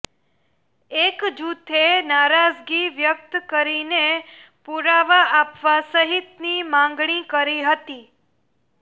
એક જૂથે નારાજગી વ્યક્ત કરીને પુરાવા આપવા સહિતની માંગણી કરી હતી